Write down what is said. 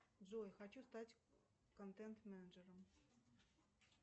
джой хочу стать контент менеджером